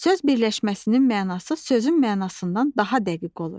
Söz birləşməsinin mənası sözün mənasından daha dəqiq olur.